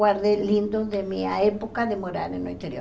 guardei lindo de minha época de morada no interior.